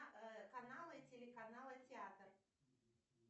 каналы телеканала театр